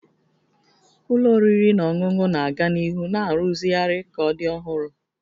Ụlọ oriri na ọṅụṅụ na-aga n'ihu na-arụzigharị ka ọ dị ọhụrụ